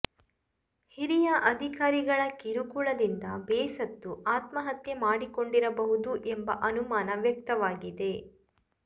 ಹಿರಿಯ ಅಧಿಕಾರಿಗಳ ಕಿರುಕುಳದಿಂದ ಬೇಸತ್ತು ಆತ್ಮಹತ್ಯೆ ಮಾಡಿಕೊಂಡಿರಬಹುದು ಎಂಬ ಅನುಮಾನ ವ್ಯಕ್ತವಾಗಿದೆ